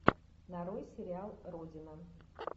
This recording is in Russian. нарой сериал родина